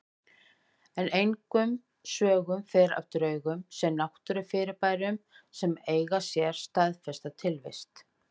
En engum sögum fer af draugum sem náttúrufyrirbærum sem eiga sér staðfesta tilvist.